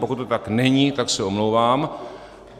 Pokud to tak není, tak se omlouvám.